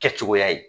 Kɛ cogoya ye